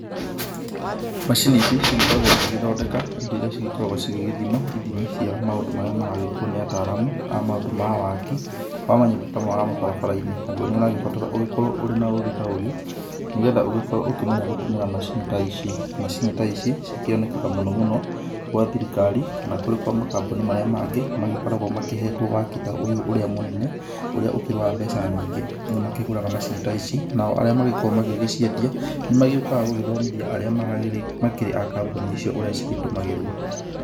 Macini ici cigĩkoragwo cigĩthondeka indo iria cigĩkoragwo cigĩgĩthima ithimi cia maũndũ marĩa maragĩkwo nĩ ataramu a maũndũ ma waaki, wa manyũmba kana wa mabarabara-inĩ, naguo nĩ ũragĩbatara ũkorwo ũrĩ na ũgĩ ta ũyũ, nĩgetha ũgĩkorwo ũkĩmenya gũtũmĩra macini ta ici cikĩonekaga mũno mũno gwa thirikari kana kũrĩ kwa makambuni marĩa mangĩ magĩkoragwo makĩhetwo waaki ta ũyũ ũrĩa mũnene, ũrĩa ũkĩrĩ wa mbeca nyingĩ. Nĩ makĩgũraga macini ta ici nao arĩa magĩkoragwo magĩciendia nĩmagĩũkaga gũthomithia arĩa makĩrĩ a kambuni icio ũrĩa cigĩtũmagĩrwo.